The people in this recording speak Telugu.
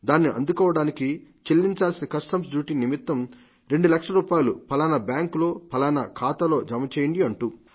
దాన్ని అందుకోవడానికి చెల్లించాల్సిన కస్టమ్స్ డ్యూటీ నిమిత్తం రెండు లక్షల రూపాయలు ఫలానా బ్యాంకుల్లో ఫలానా ఖాతాలో జమచేయండి అంటూ